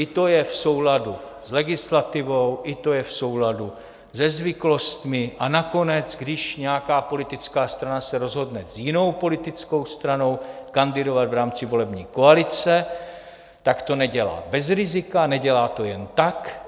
I to je v souladu s legislativou, i to je v souladu se zvyklostmi, a nakonec když nějaká politická strana se rozhodne s jinou politickou stranou kandidovat v rámci volební koalice, tak to nedělá bez rizika, nedělá to jen tak.